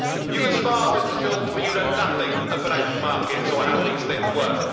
You can smile, Mr Schulz, but you know nothing of financial markets or how these things work.